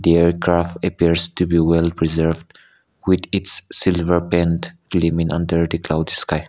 aircraft appears to be well preserved with its silver paint under the cloud sky.